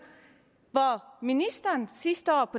sidste år